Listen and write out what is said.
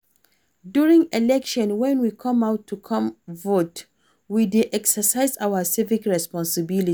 During election when we come out to come vote, we dey exercise our civic responsibility